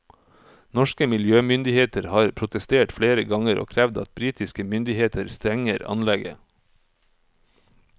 Norske miljømyndigheter har protestert flere ganger og krevd at britiske myndigheter stenger anlegget.